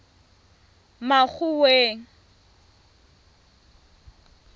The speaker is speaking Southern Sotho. makgoweng